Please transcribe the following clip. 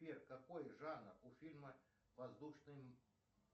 сбер какой жанр у фильма воздушный